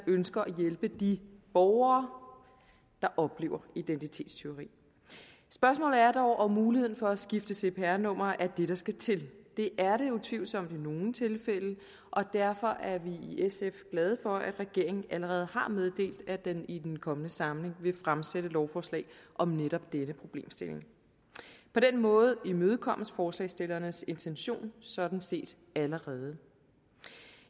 ønsker at hjælpe de borgere der oplever identitetstyveri spørgsmålet er dog om muligheden for at skifte cpr nummer er det der skal til det er det utvivlsomt i nogle tilfælde og derfor er vi i sf glade for at regeringen allerede har meddelt at den i den kommende samling vil fremsætte lovforslag om netop denne problemstilling på den måde imødekommes forslagsstillernes intention sådan set allerede